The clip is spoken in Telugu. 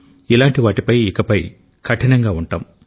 ఇలాంటి వాటిపై ఇకపై కఠినంగా ఉంటాం